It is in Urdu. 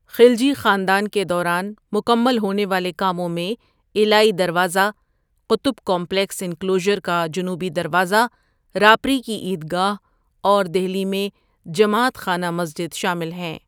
خلجی خاندان کے دوران مکمل ہونے والے کاموں میں علائی دروازه قطب کمپلیکس انکلوژر کا جنوبی دروازہ، راپری کی عیدگاہ اور دہلی میں جماعت خانہ مسجد شامل ہیں.